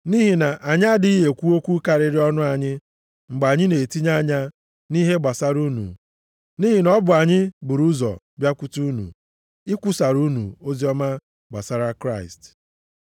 Nʼihi na anyị adịghị ekwu okwu karịrị ọnụ anyị mgbe anyị na-etinye anya nʼihe gbasara unu, nʼihi na ọ bụ anyị buru ụzọ bịakwute unu, ikwusara unu oziọma gbasara Kraịst.